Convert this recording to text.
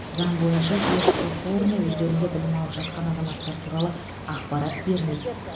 заң бойынша еш оқу орны өздерінде білім алып жатқан азаматтар туралы ақпарат бермейді